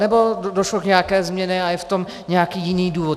Anebo došlo k nějaké změně a je v tom nějaký jiný důvod?